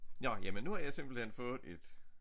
Nåh jamen nu har jeg simpelthen fået et